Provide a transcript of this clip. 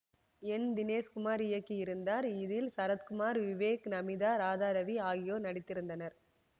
என் தினேஷ் குமார் இயக்கியிருந்தார் இதில் சரத்குமார் விவேக் நமீதா ராதாரவி ஆகியோர் நடித்திருந்தனர்